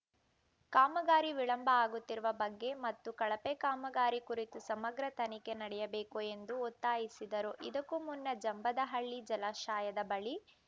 ಕಾಮಗಾರಿ ವಿಳಂಬ ಆಗುತ್ತಿರುವ ಬಗ್ಗೆ ಮತ್ತು ಕಳಪೆ ಕಾಮಗಾರಿ ಕುರಿತು ಸಮಗ್ರ ತನಿಖೆ ನಡೆಯಬೇಕು ಎಂದು ಒತ್ತಾಯಿಸಿದರು ಇದಕ್ಕೂ ಮುನ್ನ ಜಂಬದಹಳ್ಳ ಜಲಾಶಯದ ಬಳಿ